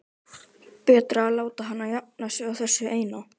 Betra að láta hana jafna sig á þessu eina.